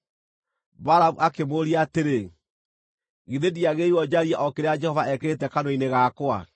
Balamu akĩmũũria atĩrĩ, “Githĩ ndiagĩrĩirwo njarie o kĩrĩa Jehova ekĩrĩte kanua-inĩ gakwa?”